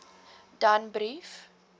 danbrief